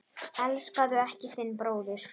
Elskaðu ekki þinn bróður.